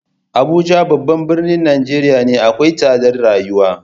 Abuja babban birnin Nijeriya akwai tsadar rayuwa.